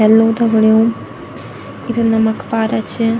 हेलो दगड़ियों इ त नामकपारा छ।